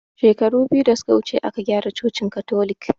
Shekaru biyu da suke wuce aka gyara cocin katolik